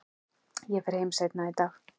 Ég fer heim seinna í dag.